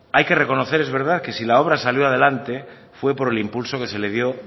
hay que reconocer es verdad que sí la obra salió adelante fue por el impulso que se le dio